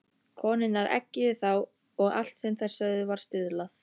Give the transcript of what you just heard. Konurnar eggjuðu þá og allt sem þær sögðu var stuðlað.